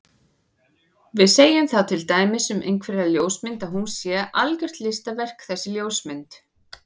Við segjum þá til dæmis um einhverja ljósmynd að hún sé algjört listaverk þessi ljósmynd.